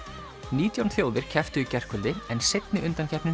nítján þjóðir kepptu í gærkvöldi en seinni